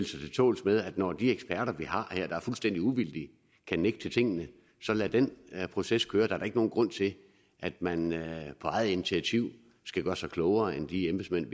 tåls med at når de eksperter vi har her der er fuldstændig uvildige kan nægte tingene så lad den proces køre der er da ikke nogen grund til at man på eget initiativ skal gøre sig klogere end de embedsmænd